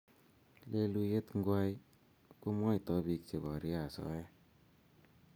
leluyiet ngwai ko mwaitoi piik che porie asoya